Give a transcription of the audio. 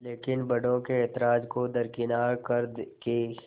लेकिन बड़ों के ऐतराज़ को दरकिनार कर के